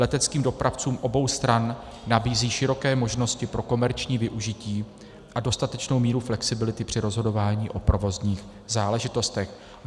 Leteckým dopravcům obou stran nabízí široké možnosti pro komerční využití a dostatečnou míru flexibility při rozhodování o provozních záležitostech.